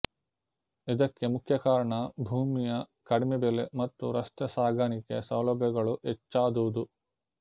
ಇದಕ್ಕೆ ಮುಖ್ಯ ಕಾರಣ ಭೂಮಿಯ ಕಡಿಮೆ ಬೆಲೆ ಮತ್ತು ರಸ್ತೆ ಸಾಗಾಣಿಕೆ ಸೌಲಭ್ಯಗಳು ಹೆಚ್ಚಾದುದು